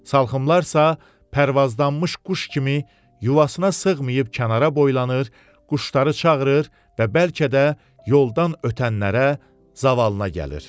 Salxımlar isə pərvaazlanmış quş kimi yuvasına sığmayıb kənara boylanır, quşları çağırır və bəlkə də yoldan ötənlərə zavallına gəlir.